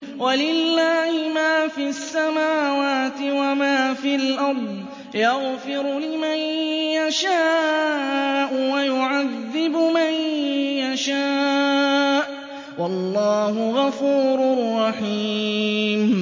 وَلِلَّهِ مَا فِي السَّمَاوَاتِ وَمَا فِي الْأَرْضِ ۚ يَغْفِرُ لِمَن يَشَاءُ وَيُعَذِّبُ مَن يَشَاءُ ۚ وَاللَّهُ غَفُورٌ رَّحِيمٌ